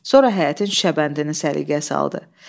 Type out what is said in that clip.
Sonra həyətin şebəndərini səliqəyə saldı.